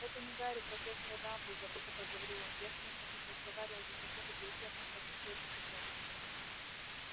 это не гарри профессор дамблдор пылко проговорил он я с ним значит разговаривал за секунду перед тем ну как нашли этого цыплёнка